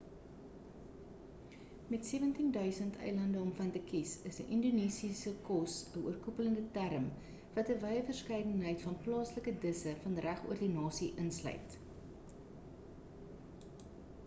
met 17 000 eilande om van te kies is indonesiese kos 'n oorkoepelende term wat 'n wye verskeidenheid van plaaslike disse van regoor die nasie insluit